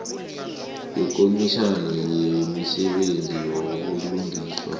yekomitjhana yemisebenzi yobulungiswa